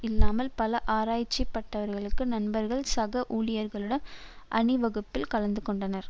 இல்லாமல் பல ஆரைசிபட்டவர்களுள் நண்பர்கள் சக ஊழியர்களுடன் அணிவகுப்பில் கலந்து கொண்டனர்